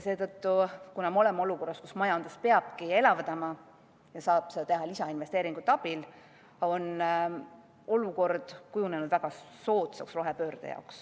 Seetõttu, kuna me oleme olukorras, kus majandust peabki elavdama ja seda saab teha lisainvesteeringute abil, on rohepöörde jaoks kujunenud väga soodsad tingimused.